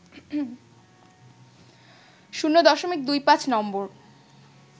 ০.২৫ নম্বর